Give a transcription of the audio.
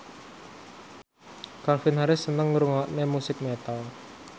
Calvin Harris seneng ngrungokne musik metal